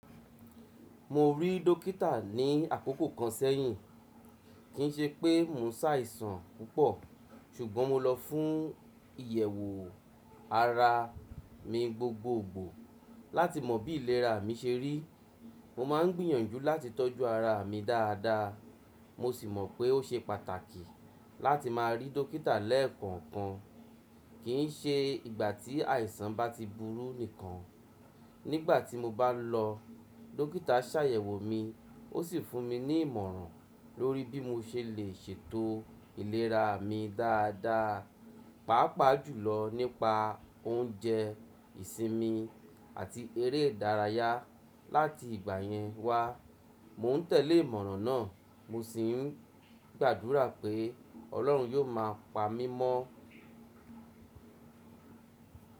Mo rí dókítà ní àkókò kan sẹ́yìn, kì í ṣe pé mo ń ṣàìsàn púpọ̀, ṣùgbọ́n mo lọ fún ìyẹ̀wò ara mi gbogbogbò láti mọ bí ìlera mi ṣe rí. Mo máa ń gbìyànjú láti tọ́jú ara mi dáadáa, mo sì mọ̀ pé ó ṣe pàtàkì láti máa rí dókítà lẹ́ẹ̀kọ̀kan, kì í ṣe ìgbà tí àìsàn bá ti burú nìkan. Nígbà tí mo bá lọ, dókítà ṣàyẹ̀wò mi ó sì fún mi ní ìmọ̀ràn lórí bí mo ṣe lè ṣètò ìlera mi dáadáa, pàápàá jùlọ nípa oúnjẹ ìsinmi àti eré ìdárayá. Láti ìgbà yẹn wá, mò ń tẹ̀lé ìmọ̀ràn náà, mo sì ń gbàdúrà pé Ọlọ́run yó máa pa mí mọ́.